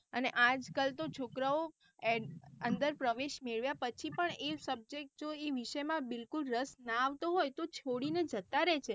અને આજ કલ તો છોકરાઓ અનાદર પ્રવેશ મેળવ્યા પછી પણ એ subject જો એ વિષય માં બિલકુલ રસ ના આવતું હોય તો છોડી ને જતા રહે છે.